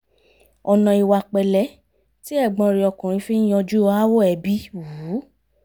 ọ̀nà ìwà pẹ̀lẹ́ tí ẹ̀gbọ́n rẹ̀ ọkùnrin fi ń yanjú aáwọ̀ ẹbí wù ú